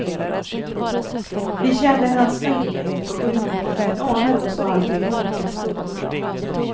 Vi känner hans ömhet och humor, men anar också alltid mörka skuggor.